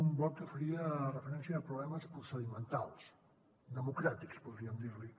un bloc que faria referència a problemes procedimentals democràtics podríem dir ne